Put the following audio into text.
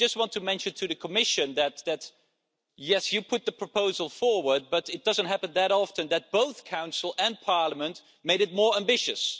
I just want to mention to the Commission that yes, you put the proposal forward, but it doesn't happen that often that both the Council and Parliament made it more ambitious.